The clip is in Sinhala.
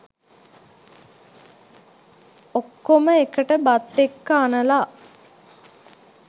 ඔක්කොම එකට බත් එක්ක අනලා